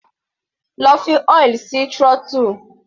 Lọ fi oil sí throttle.